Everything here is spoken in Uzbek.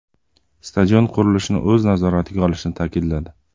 Stadion qurilishini o‘z nazoratiga olishini ta’kidladi.